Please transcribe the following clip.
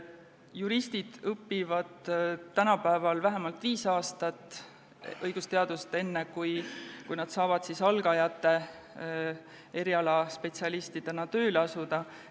Juristid õpivad tänapäeval vähemalt viis aastat õigusteadust, enne kui nad saavad algajate spetsialistidena tööle asuda.